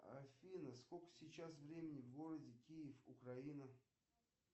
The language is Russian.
афина сколько сейчас времени в городе киев украина